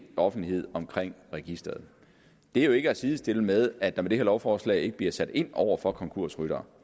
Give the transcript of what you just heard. offentlighed omkring registeret det er jo ikke at sidestille med at der med det her lovforslag ikke bliver sat ind over for konkursryttere